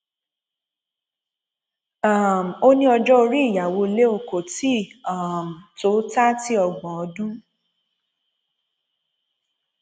um ó ní ọjọ orí ìyàwó leo kò tí ì um tó tààtì ọgbọn ọdún